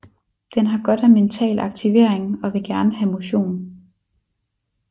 Den har godt af mental aktivering og vil gerne have motion